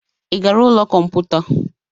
Ị gara ụlọ kọmputa?